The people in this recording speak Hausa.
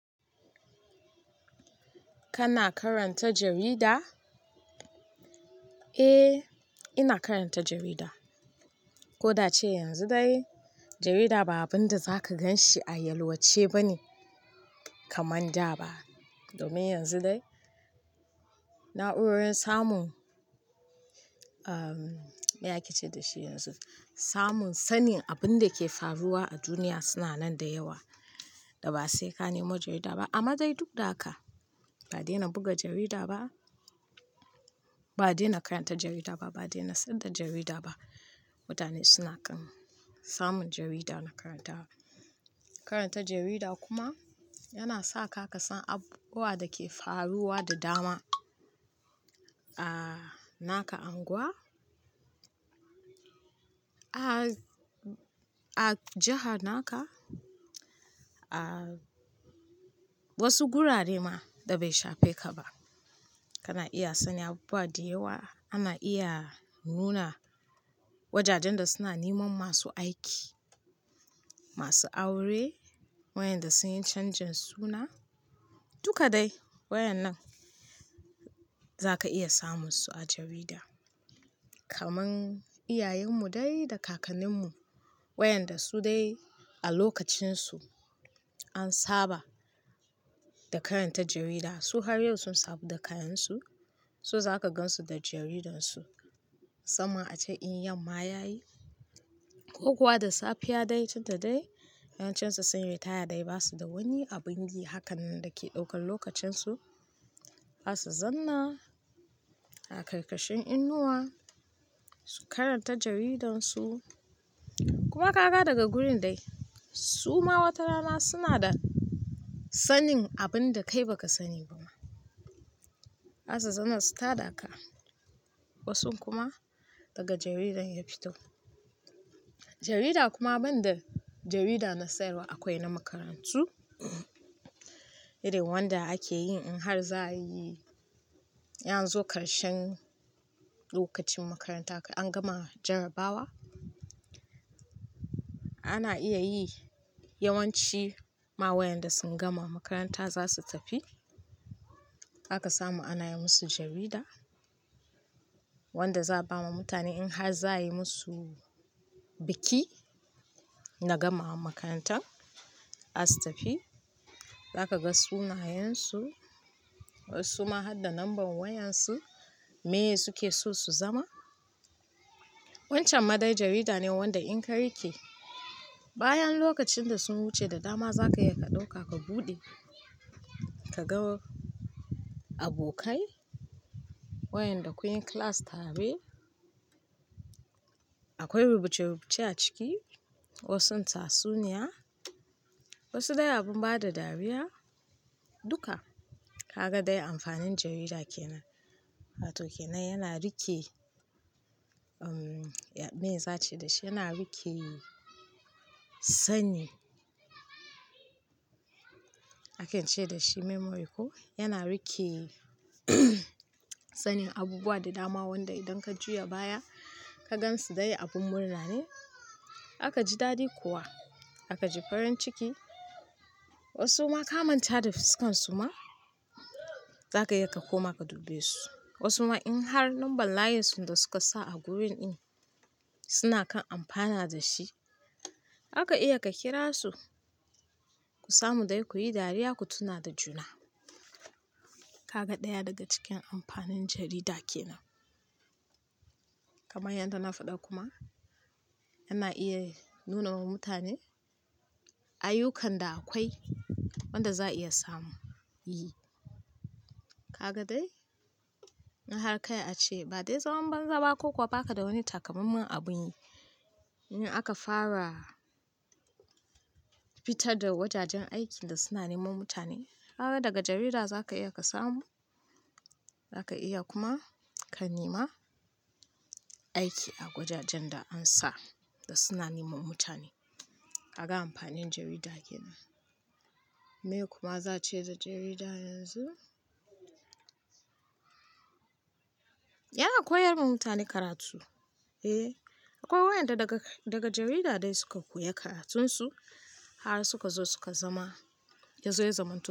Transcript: Kana karanta jarida? Eh, ina karanta jarida. Ko da cewa yanzu dai jarida ba abin da zaka gan shi a yalwace ba ne kamar da ba. Domin yanzu dai na'urorin samun, me ake ce da shi yanzu, samun sanin abin da ke faruwa a duniya suna nan da yawa da ba sai ka nemi jarida ba. Amma dai duk da haka ba dai na buga jarida ba, ba dai na karanta jarida ba, ba dai na san da jarida ba. Mutane suna kan samun jarida na karanta. Karanta jarida kuma yana sa ka ka san abubuwan da ke faruwa da dama a naka unguwa, a jiha naka, a wasu gurare ma da bai shafe ka ba. Kana iya sanin abubuwa da yawa. Ana iya nuna wajajen da suna neman masu aiki, masu aure, wayanda sun yi canjin suna, duka dai wayan nan za ka iya samun su a jarida. Kaman iyayen mu dai da kakannin mu wayanda su dai a lokacin su an saba da karanta jarida. Su har yau sun saba da kayan su, su za ka gan su da jaridan su sama a can in yamma ya yi ko kuwa da safiya dai, tunda dai 'yan can su sun retire dai ba su da wani abin yi hakan nan da ke daukan lokacin su. Za su zanna a karkashin inuwa su karanta jaridan su. Kuma ka ga daga gurin dai su ma wata rana suna da sanin abin da kai ba ka sani ba ma. Za su zanna su tada ka wasu kuma daga jaridar ya fito. Jarida kuma ban da jarida na sayarwa akwai na makarantu. Irin wanda ake yi in har za a yi yanzu karshen lokacin makaranta an gama jarabawa, ana iya yi yawanci ma wayanda sun gama makaranta za su tafi. Za ka samu ana yi musu jarida wanda za a ba ma mutane in har za a yi musu biki na gamawa makarantar as tafi. Za ka ga sunayen su wasu ma har da lambar wayan su me ye su ke so su zama. Wancan ma dai jarida ne wanda in ka rike bayan lokacin da sun wuce da dama za ka iya ka ɗauka ka buɗe ka ga abokai wayanda kun yi class tare. Akwai rubuce-rubuce a ciki wasu tatsuniya wasu dai abin ba da dariya, duka. Ka ga dai amfanin jarida ke nan. Karato ke nan yana rike, me za a ce da shi, yana rike sani. Ake ce da shi memory ko? Yana rike sanin abubuwa da dama wanda idan ka juya baya ka gan su dai abin murna ne. Aka ji dadi kuwa, aka ji farin ciki. Wasu ma ka manta da fuskan su ma za ka iya ka koma ka dubbe su. Wasu ma in har lambar layin su da suka sa a gurin in suna kan amfana da shi. Za ka iya ka kira su ku samu dai ku yi dariya ku tuna da juna. Ka ga ɗaya daga cikin amfanin jarida ke nan. Kaman yadda na faɗa kuma ana iya nuna wa mutane ayyukan da akwai wanda za a iya samu. Yi. Ka ga dai in har ka a ce ba dai zaman banza ba ko kuwa ba ka da wani takamammen abin yi in aka fara fita da wajajen aikin da suna neman mutane. Haka daga jarida za ka iya ka samu za ka iya kuma ka nema aiki a gwajajen da an sa da suna neman mutane. Ka ga amfanin jarida ke nan. Me kuma za a ce da jarida yanzu? Yana koyar ma mutane karatu. Eh, akwai wayanda daga jarida dai suka koya karatun su har suka zo suka zama yanzu yazan mutane.